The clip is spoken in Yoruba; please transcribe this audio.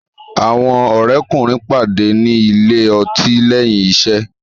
Àwọn òré kùnrin pàdé ní Ilé-ọtí léyìn iṣé.